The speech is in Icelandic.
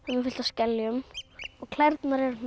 með fullt af skeljum og klærnar eru